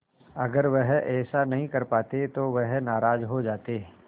अगर वह ऐसा नहीं कर पाते तो वह नाराज़ हो जाते